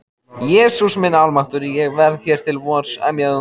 Jesús minn almáttugur, ég verð hér til vors. emjaði hún.